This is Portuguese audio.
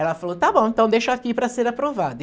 Ela falou, está bom, então deixa aqui para ser aprovado.